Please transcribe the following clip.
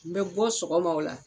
N bɛ bɔ sɔgɔma o la.